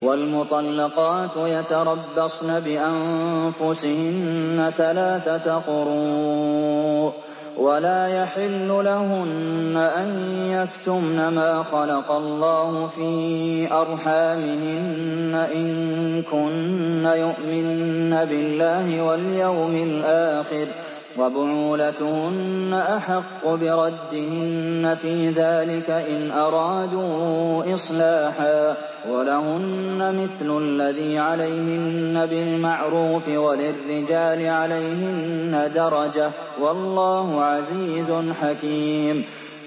وَالْمُطَلَّقَاتُ يَتَرَبَّصْنَ بِأَنفُسِهِنَّ ثَلَاثَةَ قُرُوءٍ ۚ وَلَا يَحِلُّ لَهُنَّ أَن يَكْتُمْنَ مَا خَلَقَ اللَّهُ فِي أَرْحَامِهِنَّ إِن كُنَّ يُؤْمِنَّ بِاللَّهِ وَالْيَوْمِ الْآخِرِ ۚ وَبُعُولَتُهُنَّ أَحَقُّ بِرَدِّهِنَّ فِي ذَٰلِكَ إِنْ أَرَادُوا إِصْلَاحًا ۚ وَلَهُنَّ مِثْلُ الَّذِي عَلَيْهِنَّ بِالْمَعْرُوفِ ۚ وَلِلرِّجَالِ عَلَيْهِنَّ دَرَجَةٌ ۗ وَاللَّهُ عَزِيزٌ حَكِيمٌ